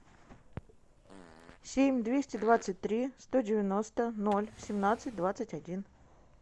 семь двести двадцать три сто девяносто ноль семнадцать двадцать один